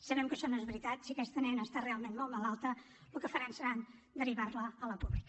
sabem que això no és veritat si aquesta nena està realment molt malalta el que faran serà derivar la a la pública